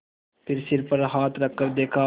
फिर सिर पर हाथ रखकर देखा